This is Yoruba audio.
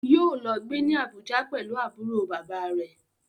Yóò lọ gbé ní Abuja pẹ̀lú àbúrò bàbáa rẹ̀.